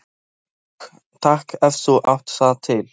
Kók takk, ef þú átt það til!